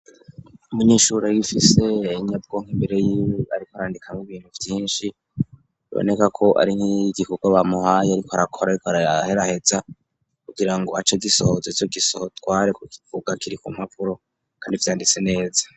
Umunyishurura gifise inyabwonka imbere yiwe, ariko arandikamwo ibintu vyinshi roneka ko ari nk'iyo igikurwa bamuhahye, ariko arakora, ariko araheraheza kugira ngo aco gisohoze co gisoho tware ku kivuga kiri ku mpavuro, kandi vyanditse neza.